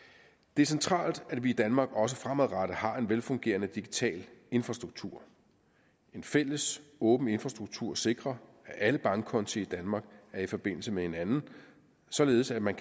det er centralt at vi i danmark også fremadrettet har en velfungerende digital infrastruktur en fælles åben infrastruktur sikrer at alle bankkonti i danmark er i forbindelse med hinanden således at man